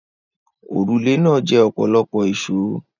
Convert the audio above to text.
Òrùlé náà jẹ ọ̀pọ̀lọpọ̀ èsòó.